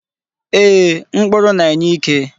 Ee, mkpụrụ na-enye ike.